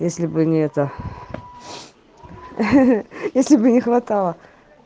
если бы не это если бы не хватало